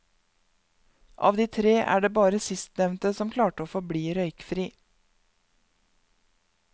Av de tre er det bare sistnevnte som klarte å forbli røykfri.